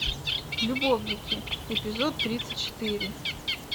любовники эпизод тридцать четыре